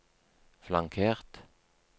flankert